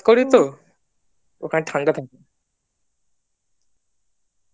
করি তো ওখানে ঠান্ডা থাকে